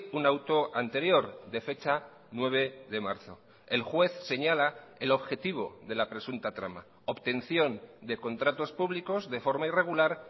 un auto anterior de fecha nueve de marzo el juez señala el objetivo de la presunta trama obtención de contratos públicos de forma irregular